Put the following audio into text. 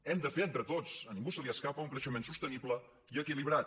hem de fer entre tots a ningú se li escapa un creixement sostenible i equilibrat